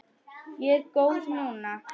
Ég er góð núna.